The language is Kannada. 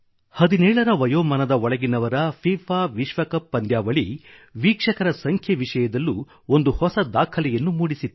ಫಿಫಾ 17ರ ವಯೋಮಾನದ ಒಳಗಿನವರ ವಿಶ್ವಕಪ್ ವೀಕ್ಷಕರ ಸಂಖ್ಯೆ ವಿಷಯದಲ್ಲೂ ಒಂದು ಹೊಸ ದಾಖಲೆಯನ್ನು ಮೂಡಿಸಿತ್ತು